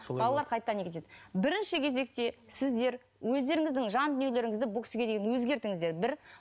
балалар қайтадан бірінші кезекте сіздер өздеріңіздің жан дүниелеріңізді бұл кісіге деген өзгертіңіздер бір